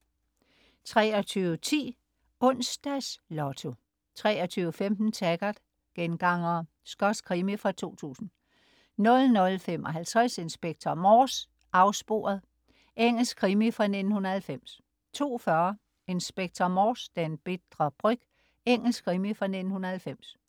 23.10 Onsdags Lotto 23.15 Taggart: Gengangere. Skotsk krimi fra 2000 00.55 Inspector Morse: Afsporet. Engelsk krimi fra 1990 02.40 Inspector Morse: Den bitre bryg. Engelsk krimi fra 1990